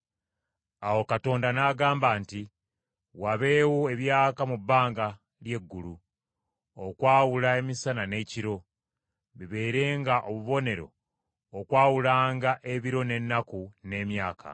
Awo Katonda n’agamba nti, “Wabeewo ebyaka mu bbanga ly’eggulu, okwawula emisana n’ekiro; bibeerenga obubonero okwawulanga ebiro, n’ennaku, n’emyaka.